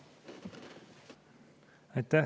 Aitäh!